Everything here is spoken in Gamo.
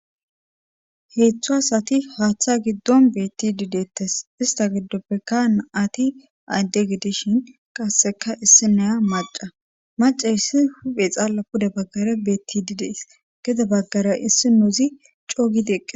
heeththu asati haaththa giddon betti di deettes ista giddoppekka naati adde gidishin qasseka issi naya maca maca hissi huphe xaalla puda baggare betti didees gede baggare issi nouzi coogidieqqe